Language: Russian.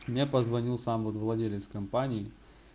мне позвонил сам владелец компании